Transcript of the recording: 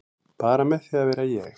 Bara með því að vera ég